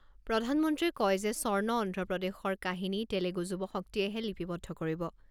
প্ৰধানমন্ত্ৰীয়ে কয় যে স্বৰ্ণ অন্ধ্ৰপ্ৰদেশৰ কাহিনী তেলেগু যুৱশক্তিয়েহে লিপিবদ্ধ কৰিব।